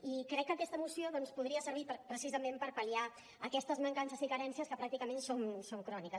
i crec que aquesta moció podria servir precisament per pal·liar aquestes mancances i carències que pràcticament són cròniques